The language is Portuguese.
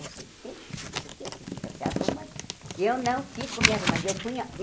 Não sei o que você não sei o que Você fica se arrumando eu não fico me arrumando. Eu punha